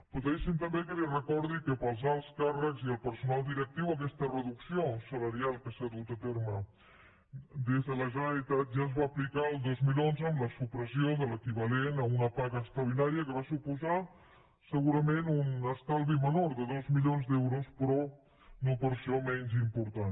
però deixi’m també que li recordi que per als alts càrrecs i el personal directiu aquesta reducció salarial que s’ha dut a terme des de la generalitat ja es va aplicar el dos mil onze amb la supressió de l’equivalent a una paga extraordinària que va suposar segurament un estalvi menor de dos milions d’euros però no per això menys important